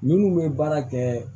Minnu bɛ baara kɛ